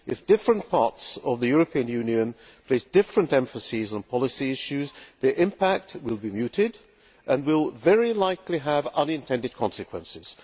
If different parts of the European Union place different emphases on policy issues, the impact will be muted and will very likely have unintended consequences.